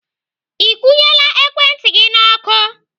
Ị kwụnyela ekwentị gị. N'ọkụ?